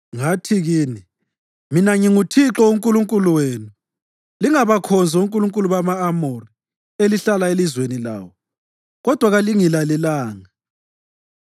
Ngathi kini, ‘Mina nginguThixo uNkulunkulu wenu, lingabakhonzi onkulunkulu bama-Amori, elihlala elizweni lawo.’ Kodwa kalingilalelanga.”